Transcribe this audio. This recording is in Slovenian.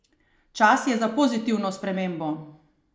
Čas je za pozitivno spremembo!